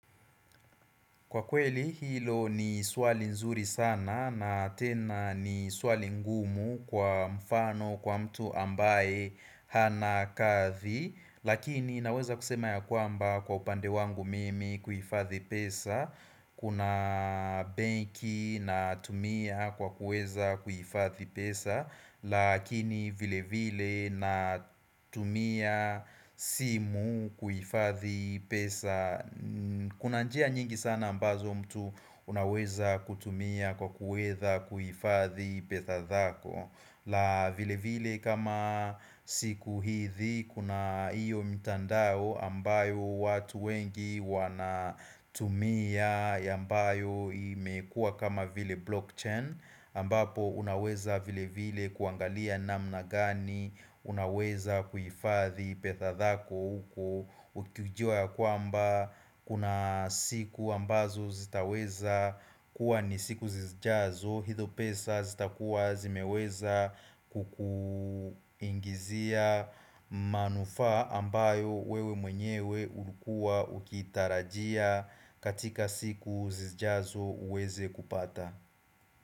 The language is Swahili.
Kwa kweli hilo ni swali nzuri sana na tena ni swali ngumu kwa mfano kwa mtu ambaye hanakathi Lakini inaweza kusema ya kwamba kwa upande wangu mimi kuhifathi pesa Kuna banki na tumia kwa kuweza kuhifathi pesa Lakini vile vile na tumia simu kuifathi pesa Kuna njia nyingi sana ambazo mtu unaweza kutumia kwa kuweza kuhifadhi pesa zako la vile vile kama siku hizi kuna hiyo mtandao ambayo watu wengi wanatumia ya ambayo imekuwa kama vile blockchain ambapo unaweza vile vile kuangalia namna gani, unaweza kuhifadhi pesa zako uko, ukiujua kwamba kuna siku ambazo zitaweza kuwa ni siku zizijazo, hizo pesa zitakuwa zimeweza kukuingizia manufaa ambayo wewe mwenyewe ulikua ukitarajia katika siku zizijazo uweze kupata.